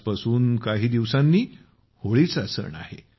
आजपासून काही दिवसांनी होळी सण आहे